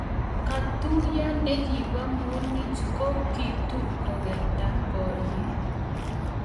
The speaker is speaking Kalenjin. Katuye ne kibo munich ko kitur kukerta borie.